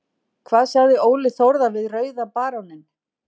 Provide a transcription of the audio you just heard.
Hvað sagði Óli Þórðar við Rauða baróninn?